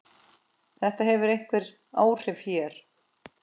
Þetta hefur einhver áhrif hér.